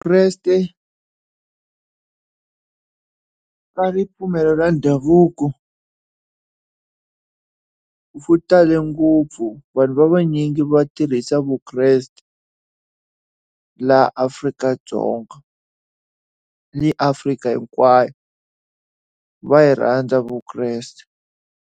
Vukreste na ripfumelo ra ndhavuko ku tale ngopfu vanhu vanyingi va tirhisa vukreste laha Afrika-Dzonga ni Africa hinkwayo. Va yi rhandza Vukreste.